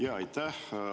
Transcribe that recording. Jaa, aitäh!